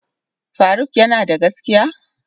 Faruk yanada gaskiya?